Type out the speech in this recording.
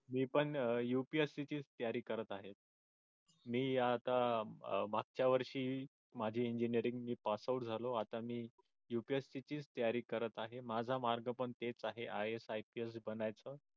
मी पण UPSC ची तयारी करत आहे. मी आता मागच्या वर्षी माझे इंजिनिअरींग मी passout झालो आता मी UPSC ची तयारी करत आहे. माझा मार्ग पण तेच आहे IASIPS बनण्याचा